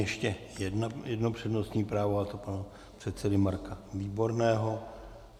Ještě jedno přednostní právo, a to pana předsedy Marka Výborného.